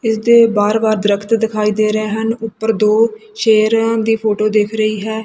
ਇਸ ਦੇ ਬਾਰ ਬਾਰ ਦਰਖਤ ਦਿਖਾਈ ਦੇ ਰਹੇ ਹਨ ਉੱਪਰ ਦੋ ਸ਼ੇਰਾਂ ਦੀ ਫੋਟੋ ਦਿਖ ਰਹੀ ਹੈ।